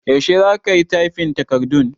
Yaushe za ka yi tyfin takardun?